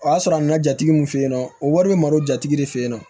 O y'a sɔrɔ a nana jatigi min fɛ yen nɔ o wari bɛ mara o jatigi de fe yen nɔ